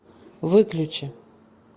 выключи